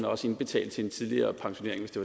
også indbetale til en tidligere pensionering hvis det